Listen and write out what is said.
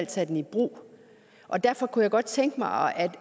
tage den i brug og derfor kunne jeg godt tænke mig